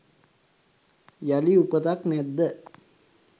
යළි උපතක් නැද්ද